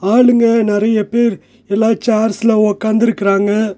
ஆளுங்க நெறைய பேர் எல்லா சேர்ஸ்ல ஒக்காந்துருக்கறாங்க.